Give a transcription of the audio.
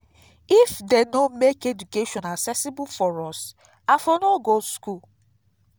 if dey no make education accessible for us i for no go school